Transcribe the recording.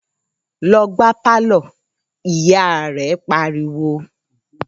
‘Lo̩ gbá pálò̩!’, ìyá rè̩ pariwo